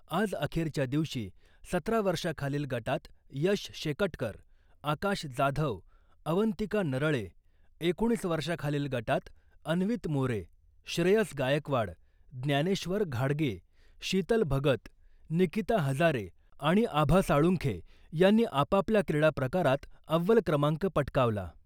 आज अखेरच्या दिवशी सतरा वर्षाखालील गटात यश शेकटकर , आकाश जाधव , अवंतिका नरळे , एकोणीस वर्षाखालील गटात अन्वित मोरे , श्रेयस गायकवाड , ज्ञानेश्वर घाडगे , शितल भगत , निकीता हजारे आणि आभा साळुंखे यांनी आपापल्या क्रीडाप्रकारात अव्वल क्रमांक पटकावला .